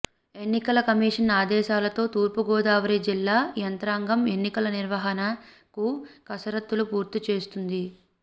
ఎన్నికల కమిషన్ ఆదేశాలతో తూర్పు గోదావరి జిల్లా యంత్రాంగం ఎన్నికల నిర్వహణకు కసరత్తులు పూర్తి చేస్తుంది